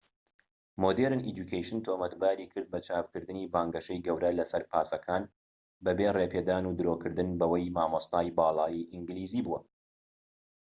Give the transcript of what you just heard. مۆدێرن ئێجوکەیشن تۆمەتباری کرد بە چاپکردنی بانگەشەی گەورە لەسەر پاسەکان بەبێ ڕێپێدان و درۆکردن بەوەی مامۆستای باڵای ئینگلیزی بووە